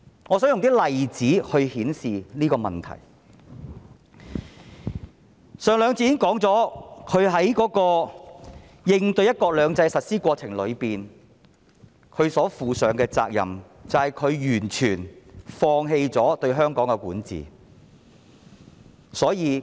我想舉一些例子來證明我的說法，我在上兩節曾說，"林鄭"在應對"一國兩制"的實施過程中，她所負的責任就是完全放棄對香港的管治。